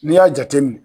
N'i y'a jateminɛ